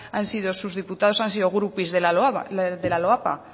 han sido sus diputados han sido groupies de la loapa